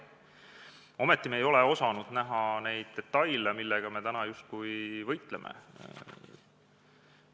Ometi ei ole me osanud näha neid detaile, millega me täna justkui võitleme.